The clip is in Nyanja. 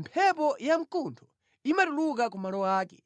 Mphepo yamkuntho imatuluka ku malo ake,